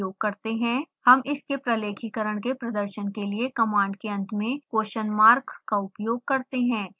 हम इसके प्रलेखीकरण के प्रदर्शन के लिए कमांड के अंत में question mark का उपयोग करते हैं